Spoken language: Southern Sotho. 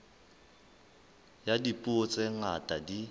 ya dipuo tse ngata di